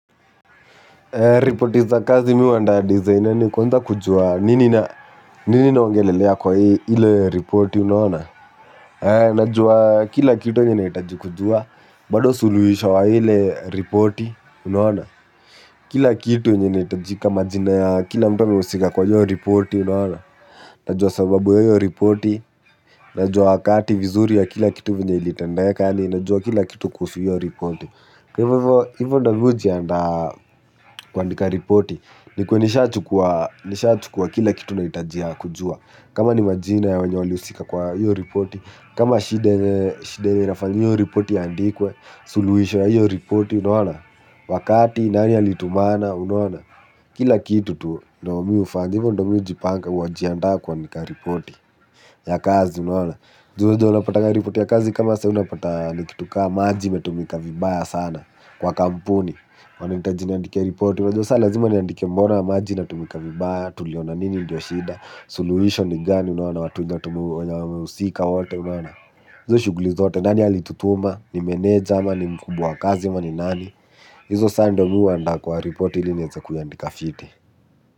Ripoti za kazi mi uwanda designer ni konza kujua nini na wangelelea kwa hile ripoti unaona? Najua kila kitu inaitaji kujua bado suluhisho wa ile reporti unaona? Kila kitu yenye inaitajika majina ya kila mtu ameusika kwa iyo ripoti unaona? Najua sababu ya iyo ripoti, najua wakati vizuri ya kila kitu venye ilitendeka ninajua kila kitu kuhusu hile ripoti. Kwa hivyo hivyo ndo mi ujianda kuandika ripoti ni kwenisha chukua kila kitu na itajia kujua. Kama ni majina ya wenye wali usika kwa hivyo ripoti kama shidene nafanyo ripoti ya ndikwe, suluhishwa hivyo ripoti unaona. Wakati nani alitumana unaona. Kila kitu tu naomi ufanyo ndo mi ujipanga uajiandaa kuandika ripoti ya kazi unaona Njuhu zi wanapata nga report ya kazi kama saa unapata nikituka maji metumika vibaya sana kwa kampuni. Wanaitaji niandike report ulajo saa lazima ni andike mbona maji na tumika vibaya tuliona nini ndio shida. Soluhisho ni gani unaona watu na tumu ya usika wote unaona Njuhu shuguli zote nani alitutuma ni manager ama ni mku wa kazi ama ni nani. Izo saa ndo mi huandaa kwa report ili neza kuiandika fiti.